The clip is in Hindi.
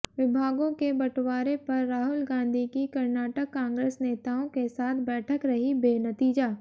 विभागों के बंटवारे पर राहुल गांधी की कर्नाटक कांग्रेस नेताओं के साथ बैठक रही बेनतीजा